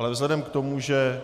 Ale vzhledem k tomu, že